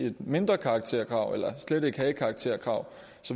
et mindre karakterkrav eller slet ikke have et karakterkrav